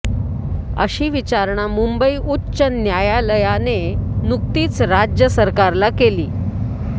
अशी विचारणा मुंबई उच्च न्यायालयाने नुकतीच राज्य सरकारला केली